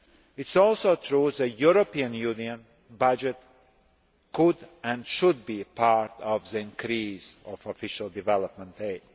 It is also true that the European Union budget could and should be a part of the increase of Official Development Aid.